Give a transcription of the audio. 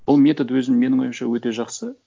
бұл метод өзі менің ойымша өте жақсы